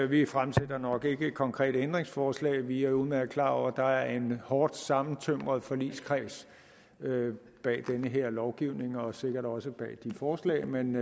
vi fremsætter nok ikke et konkret ændringsforslag vi er udmærket klar over at der er en hårdt sammentømret forligskreds bag den her lovgivning og sikkert også bag de forslag men